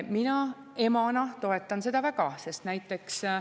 Mina emana toetan seda väga.